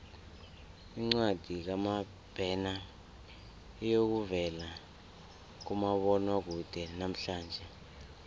incwadi kamabena iyokuvela kumabonwakude namhlanje